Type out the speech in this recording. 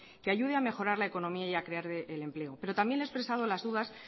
que ayude a mejorar la economía y a crear empleo pero también le he expresado las dudas